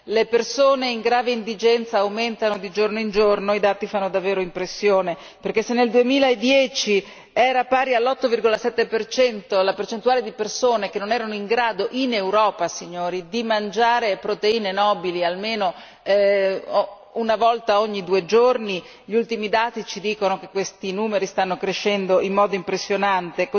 le persone in grave indigenza aumentano di giorno in giorno e i dati fanno davvero impressione, perché se nel 2010 era pari all'8,7 la percentuale di persone che non erano in grado, in Europa signori, di mangiare proteine nobili almeno una volta ogni due giorni, gli ultimi dati ci dicono che questi numeri stanno crescendo in modo impressionante